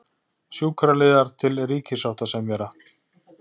Sjúkraliðar til ríkissáttasemjara